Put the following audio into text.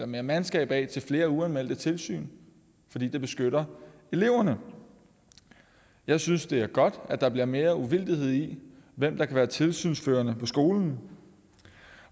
mere mandskab af til flere uanmeldte tilsyn fordi det beskytter eleverne jeg synes det er godt at der bliver mere uvildighed i hvem der kan være tilsynsførende på skolen